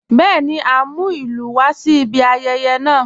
Bẹẹni, à n mú ilù wà sí ìbí ayẹyẹ ọ̀la.